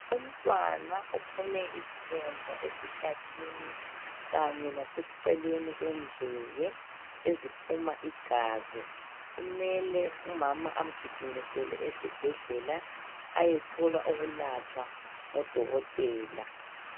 Umntwana uphume izilonda esihlathini kanye laseceleni kwendlebe eziphuma igazi. Kumele umama amgijimisele esibhedlela ayethola ukulatshwa ngodokotela.